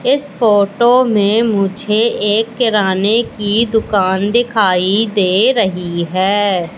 इस फोटो में मुझे एक किराने की दुकान दिखाई दे रही है।